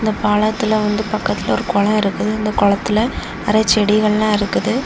இந்தப் பாலத்துல வந்து பக்கத்துல ஒரு குளம் இருக்குது இந்த குளத்துல நறைய செடிகள் எல்லாம் இருக்குது.